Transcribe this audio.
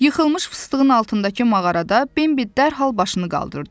Yıxılmış fıstığın altındakı mağarada Bembi dərhal başını qaldırdı.